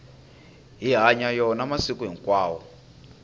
hi hanya yona masiku hinkwawo